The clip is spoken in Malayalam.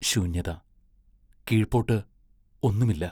ശൂന്യത കീഴ്പോട്ട് ഒന്നുമില്ല.